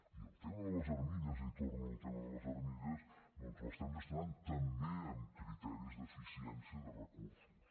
i el tema de les armilles i torno al tema de les armilles doncs l’estem gestionant també amb criteris d’eficiència de recursos